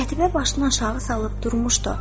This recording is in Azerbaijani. Qətibə başını aşağı salıb durmuşdu.